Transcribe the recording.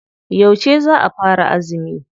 Yauce za a fara azumi?